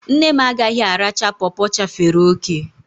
Nne m agaghị aracha pọpọ chafere òkè